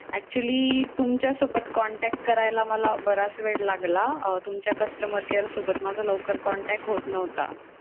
Actually तुमच्यासोबत contact करायला मला बराच वेळ लागला. अं तुमच्या customer care सोबत माझा लवकर contact होत नव्हता.